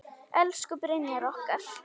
Elsku Brynjar okkar.